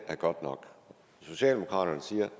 er godt nok socialdemokraterne siger